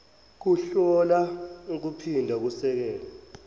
kuhlola kuphinde kusekele